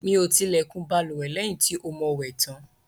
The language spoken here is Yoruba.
Mí o ti ilẹkùn bálùwẹ̀ lẹ́yìn tí o mo wẹ̀ tàn